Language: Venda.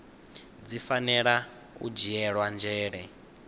dzi fanela u dzhielwa nzhele